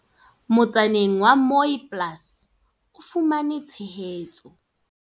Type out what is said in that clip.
Motsaneng wa Mooiplaas o fumane tshehetso.